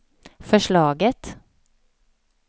förslaget